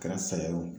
Kɛra sayo